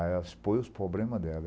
Aí ela expôs os problemas dela.